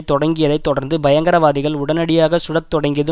தொடங்கியதை தொடர்ந்து பயங்கரவாதிகள் உடனடியாகச்சுடத் தொடங்கியது